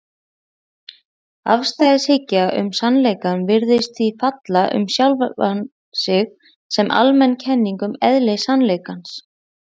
Afstæðishyggja um sannleikann virðist því falla um sjálfa sig sem almenn kenning um eðli sannleikans.